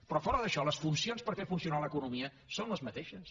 però fora d’això les funcions per fer funcionar l’economia són les mateixes